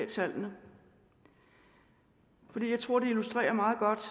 tallene for jeg tror det illustrerer